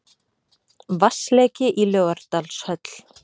Vatnsleki í Laugardalshöll